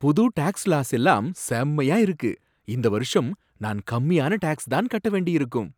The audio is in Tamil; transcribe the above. புது டாக்ஸ் லாஸ் எல்லாம் செம்மயா இருக்கு! இந்த வருஷம் நான் கம்மியான டாக்ஸ் தான் கட்ட வேண்டியிருக்கும்.